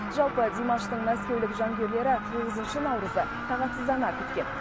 жалпы димаштың мәскеулік жанкүйерлері тоғызыншы наурызды тағатсыздана күткен